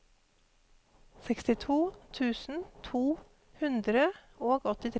sekstito tusen to hundre og åttitre